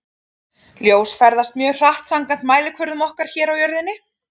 Ljós ferðast mjög hratt samkvæmt mælikvörðum okkar hér á jörðinni.